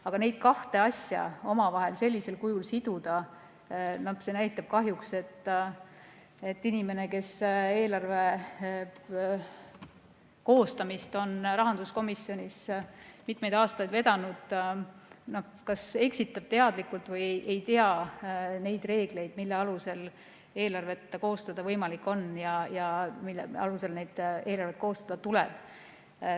Aga neid kahte asja omavahel sellisel kujul siduda – no see näitab kahjuks, et inimene, kes eelarve koostamist on rahanduskomisjonis mitmeid aastaid vedanud, kas eksitab teadlikult või ei tea reegleid, mille alusel eelarvet koostada on võimalik ja mille alusel eelarvet koostada tuleb.